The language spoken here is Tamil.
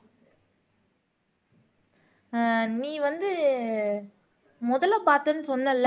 ஆஹ் நீ வந்து முதல பார்த்தேன்னு சொன்னல்ல